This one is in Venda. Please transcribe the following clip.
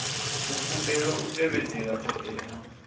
u kundelwa u tevhedzela ṱhoḓea